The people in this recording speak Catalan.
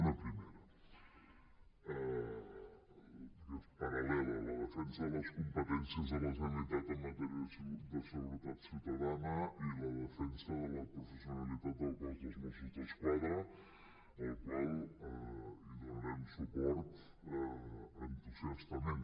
una primera que és paral·lela la defensa de les competències de la generalitat en matèria de seguretat social i la defensa de la professionalitat del cos de mossos d’esquadra a la qual donarem suport entusiastament